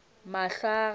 mahlo a gagwe a be